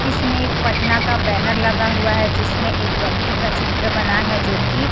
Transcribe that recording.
इसमें एक पटना का बैनर लगा हुआ है जिसमें एक व्यक्ति का चित्र बना है जो की--